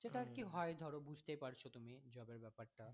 সেটা আর কি হয় ধর বুঝতেই পারছো তুমি job এর ব্যাপারটা।